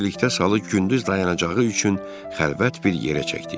Birlikdə salı gündüz dayanacağı üçün xəlvət bir yerə çəkdik.